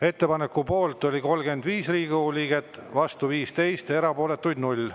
Ettepaneku poolt oli 35 Riigikogu liiget, vastu 15, erapooletuid ei olnud.